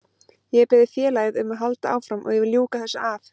Ég hef beðið félagið um að halda áfram og ég vil ljúka þessu af.